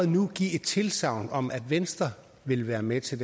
nu give et tilsagn om at venstre vil være med til